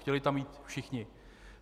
Chtěli tam jít všichni.